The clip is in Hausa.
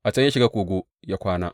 A can ya shiga kogo ya kwana.